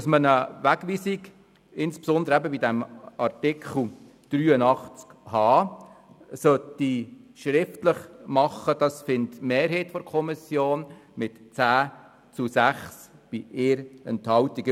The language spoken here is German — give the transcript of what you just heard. Dass man eine Wegweisung – insbesondere bei Artikel 83 Absatz 1 Buchstabe h – schriftlich machen sollte, findet die Mehrheit der Kommission mit 10 zu 6 Stimmen bei 1 Enthaltung.